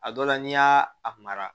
A dɔ la n'i y'a a mara